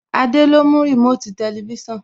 Adé ló mú Remote Tẹlifísàn